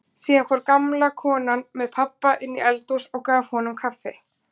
Síðan fór gamla konan með pabba inn í eldhús og gaf honum kaffi.